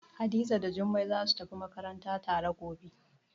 Hadiza da Jummai zasu tafi makaranta tare gobe.